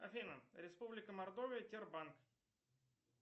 афина республика мордовия тербанк